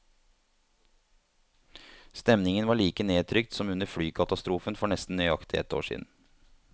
Stemningen var like nedtrykt som under flykatastrofen for nesten nøyaktig ett år siden.